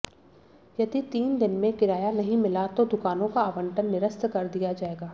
यदि तीन दिन में किराया नहीं मिला तो दुकानों का आवंटन निरस्त कर दिया जाएगा